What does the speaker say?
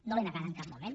no l’he negada en cap moment